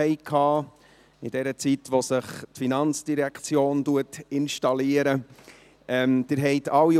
Sie hatten alle so ein Säckchen auf dem Pult.